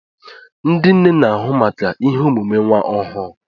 Ndị nne n'ahụ maka ihe emume nwa ọhụụ.